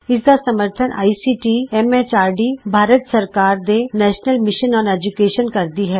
ਇਸ ਦਾ ਸਮਰੱਥਨ ਆਈਸੀਟੀ ਐਮ ਐਚਆਰਡੀ ਭਾਰਤ ਸਰਕਾਰ ਦੇ ਨੈਸ਼ਨਲ ਮਿਸ਼ਨ ਅੋਨ ਏਜੂਕੈਸ਼ਨ ਕਰਦੀ ਹੈ